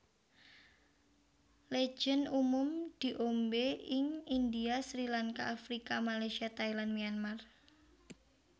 Legen umum diombe ing India Srilanka Afrika Malaysia Thailand Myanmar